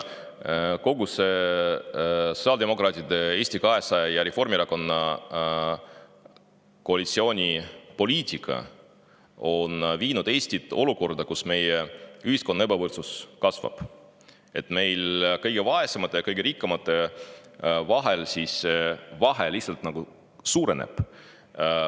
Kogu see sotsiaaldemokraatide, Eesti 200 ja Reformierakonna koalitsiooni poliitika on viinud Eesti olukorda, kus meie ühiskonna ebavõrdsus kasvab, kõige vaesemate ja kõige rikkamate vahe suureneb.